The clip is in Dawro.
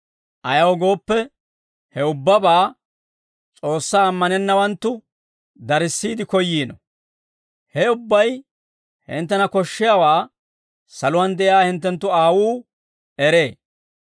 Ayaw gooppe, he ubbabaa S'oossaa ammanennawanttu darissiide koyyiino; he ubbay hinttena koshshiyaawaa saluwaan de'iyaa hinttenttu Aawuu eree.